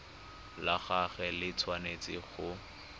la gagwe le tshwanetse go